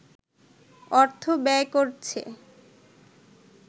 অর্থ ব্যয় করছে